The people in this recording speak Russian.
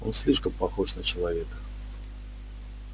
он слишком похож на человека